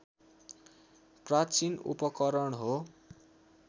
प्राचीन उपकरण हो